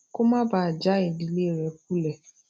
kó má bàa já ìdílé rè kulè